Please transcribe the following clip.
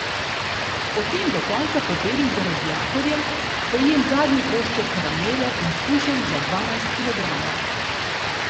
Potem do konca pobelim za radiatorjem, pojem zadnji košček karamele in shujšam za dvanajst kilogramov.